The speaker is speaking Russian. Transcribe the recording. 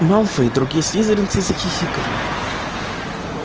малфой и другие слизеринцы захихикали